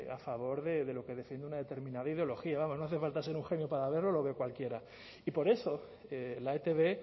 a favor de lo que defiende una determinada ideología vamos no hace falta ser un genio para verlo lo ve cualquiera y por eso la etb